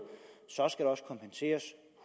så skal det også kompenseres